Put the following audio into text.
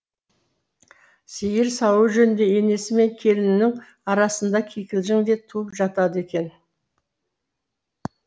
сиыр сауу жөнінде енесі мен келінінің арасында кикілжің де туып жатады екен